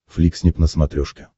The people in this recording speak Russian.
фликснип на смотрешке